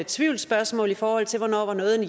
tvivlsspørgsmål i forhold til hvornår noget var